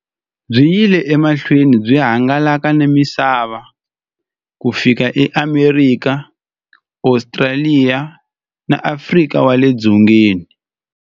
Byi yile emahlweni byi hangalaka na misava ku fika eAmerika, Ostraliya na Afrika wale dzongeni.